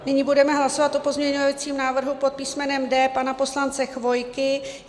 Nyní budeme hlasovat o pozměňovacím návrhu pod písmenem D pana poslance Chvojky.